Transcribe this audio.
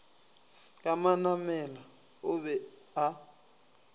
ka manamela o be a